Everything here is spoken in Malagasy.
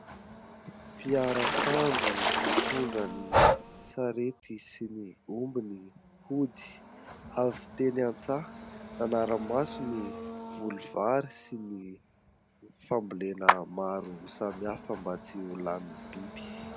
Piarak'andro mitondra ny sarety sy ny ombiny hody ; avy teny an-tsaha ; nanara maso ny voly vary sy ny fambolena maro samihafa mba tsy ho lanin'ny biby.